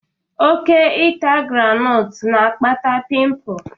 Ịta oke groundnut na-akpata pịmpul.